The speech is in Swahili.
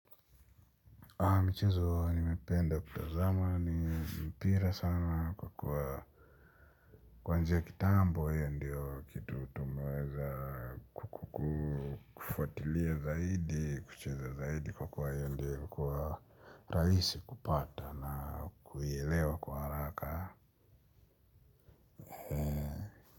Michezo nimependa kutazama ni mpira sana kwa kuwa kwa njia kitambo ndiyo kitu tumeweza kufuatilia zaidi kucheza zaidi kwa kuwa ndiyo ilikuwa rahisi kupata na kuielewa kwa haraka.